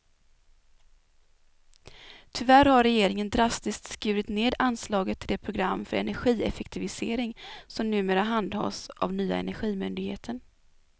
Tyvärr har regeringen drastiskt skurit ned anslaget till det program för energieffektivisering som numera handhas av nya energimyndigheten.